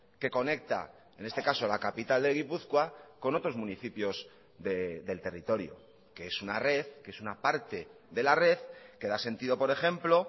que conecta en este caso la capital de gipuzkoa con otros municipios del territorio que es una red que es una parte de la red que da sentido por ejemplo